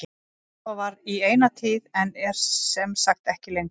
Svo var í eina tíð en er sem sagt ekki lengur.